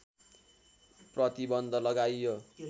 प्रतिबन्ध लगाइयो